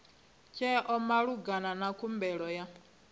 tsheo malugana na khumbelo ya